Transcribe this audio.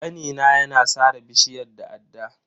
Kanina ya na sare bishiyar da adda.